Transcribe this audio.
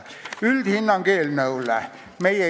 Milline on üldhinnang eelnõule?